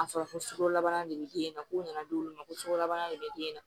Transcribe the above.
A fɔra ko sukaro labaara de bɛ den na ko nana d'olu ma ko sukarobana de bɛ den na